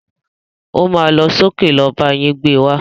O má lọ sókè lọ bá yín gbé wá.